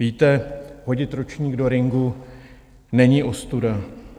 Víte, hodit ručník do ringu není ostuda.